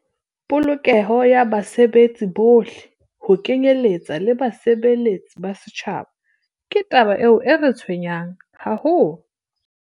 "Polokeho ya basebetsi bohle, ho kenyeletswa le basebeletsi ba setjhaba, ke taba e re tshwenyang haholo."